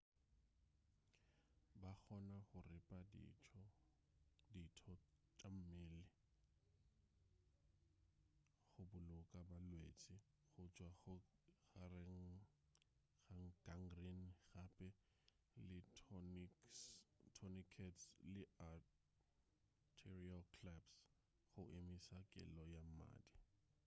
ba kgona go ripa ditho tša mmele go boloka balwetši go tšwa go gangrene gape le tourniquets le arterial claps go emiša kelo ya mmadi